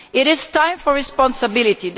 It is time for responsibility.